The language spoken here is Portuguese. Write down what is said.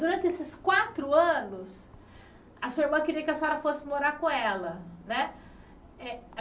Durante esses quatro anos, a sua irmã queria que a senhora fosse morar com ela, né?